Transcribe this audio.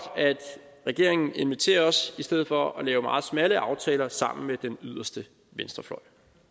at regeringen inviterer os i stedet for at lave meget smalle aftaler sammen med den yderste venstrefløj